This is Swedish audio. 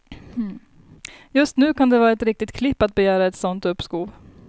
Just nu kan det vara ett riktigt klipp att begära ett sådant uppskov.